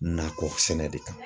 Nakɔ sɛnɛ de kan.